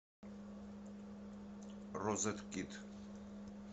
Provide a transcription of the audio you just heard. розеткед